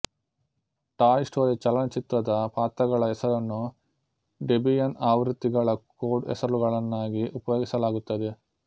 toy Story ಚಲನಚಿತ್ರದ ಪಾತ್ರಗಳ ಹೆಸರನ್ನು ಡೆಬಿಯನ್ ಆವೃತ್ತಿಗಳ ಕೋಡ್ ಹೆಸರುಗಳನ್ನಾಗಿ ಉಪಯೋಗಿಸಲಾಗುತ್ತದೆ